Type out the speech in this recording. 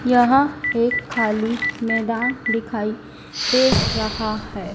यहां एक खाली मैदान दिखाई दे रहा है।